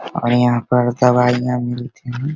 और यहाँ पर दवाइयाँ मिलते है।